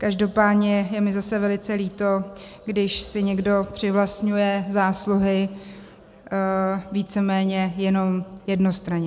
Každopádně je mi zase velice líto, když si někdo přivlastňuje zásluhy víceméně jenom jednostranně.